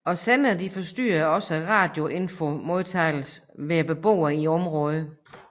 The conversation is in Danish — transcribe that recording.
Og senderne forstyrrede også radiofonimodtagelsen hos beboerne i området